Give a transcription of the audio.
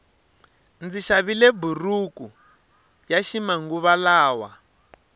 ndzi xavile buruku yaxi manguva lawa